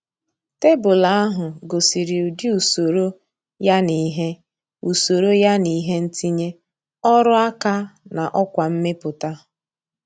Tebụl ahụ gosiri ụdị usoro yana ihe usoro yana ihe ntinye, ọrụ aka, na ọkwa mmepụta.